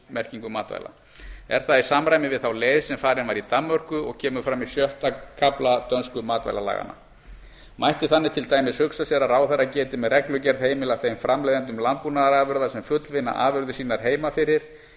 áherslumerkingu matvæla er það í samræmi við þá leið sem farin var í danmörku og kemur fram í sjötta kafla dönsku matvælalaganna mætti þannig til dæmis hugsa sér að ráðherra geti með reglugerð heimilað þeim framleiðendum landbúnaðarafurða sem fullvinna afurðir sínar heima fyrir